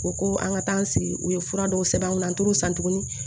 O ko an ka taa an sigi u ye fura dɔw sɛbɛn n kunna an t'o san tuguni